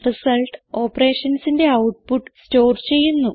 result operationsന്റെ output store ചെയ്യുന്നു